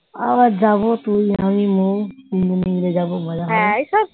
আবার যাব তুই আমি মৌ তিনজন মিলে যাব মজা করবো।